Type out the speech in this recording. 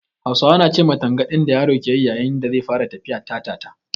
Hausawa na ce ma tangaɗin da yaro ke yi yayin da zai fara tafiya "Ta-ta-ta".